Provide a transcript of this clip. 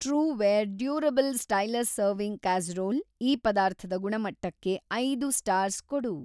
Trueware durable stylish serving casserole ಈ ಪದಾರ್ಥದ ಗುಣಮಟ್ಟಕ್ಕೆ ಐದು ಸ್ಟಾರ್ಸ್‌ ಕೊಡು.